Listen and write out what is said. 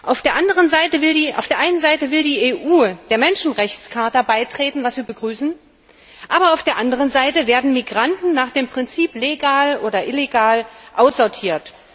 Auf der einen Seite will die EU der Menschenrechts Charta beitreten was wir begrüßen aber auf der anderen Seite werden Migranten nach dem Prinzip legal oder illegal aussortiert.